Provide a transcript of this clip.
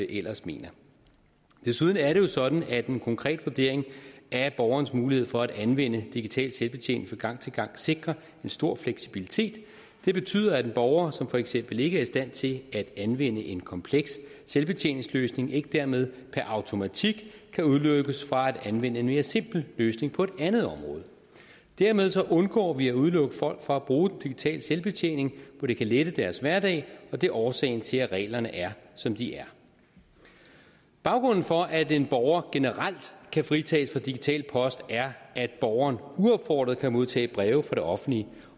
ellers mener desuden er det jo sådan at en konkret vurdering af borgerens mulighed for at anvende digital selvbetjening fra gang til gang sikrer en stor fleksibilitet det betyder at en borger som for eksempel ikke er i stand til at anvende en kompleks selvbetjeningsløsning ikke dermed per automatik kan udelukkes fra at anvende en mere simpel løsning på et andet område dermed undgår vi at udelukke folk fra at bruge den digitale selvbetjening hvor det kan lette deres hverdag og det er årsagen til at reglerne er som de er baggrunden for at en borger generelt kan fritages fra digital post er at borgeren uopfordret kan modtage breve fra det offentlige